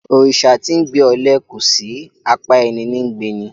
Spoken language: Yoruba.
Òrìsà tí 'ńgbe ọle kòsí; apá ẹní ní ńgbe ni.